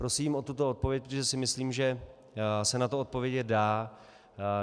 Prosím o tuto odpověď, protože si myslím, že se na to odpovědět dá.